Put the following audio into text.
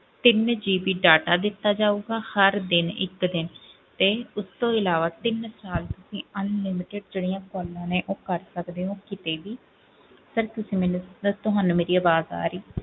ਤਿੰਨ GB data ਦਿੱਤਾ ਜਾਊਗਾ ਹਰ ਦਿਨ ਇੱਕ ਦਿਨ ਤੇ ਉਸ ਤੋਂ ਇਲਾਵਾ ਤਿੰਨ ਸਾਲ ਲਈ unlimited ਜਿਹੜੀਆਂ calls ਨੇ ਉਹ ਕਰ ਸਕਦੇ ਹੋ ਕਿਤੇ ਵੀ sir ਤੁਸੀਂ ਮੈਨੂੰ sir ਤੁਹਾਨੂੰ ਮੇਰੀ ਆਵਾਜ਼ ਆ ਰਹੀ ਹੈ,